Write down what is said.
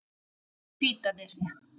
Hvítanesi